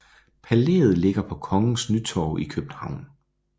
Palæet ligger på Kongens Nytorv i København